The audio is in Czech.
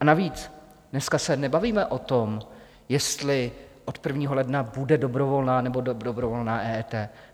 A navíc dneska se nebavíme o tom, jestli od 1. ledna bude dobrovolná, nebo nedobrovolná EET.